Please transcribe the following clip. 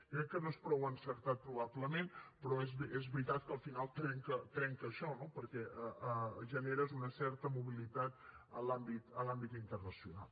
jo crec que no és prou encertat probablement però és veritat que al final trenca això no perquè generes una certa mobilitat en l’àmbit internacional